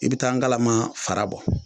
I bi taa ngalama fara bɔ